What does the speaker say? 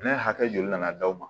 Ne hakɛ joli nana d'aw ma